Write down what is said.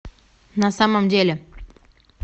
на самом деле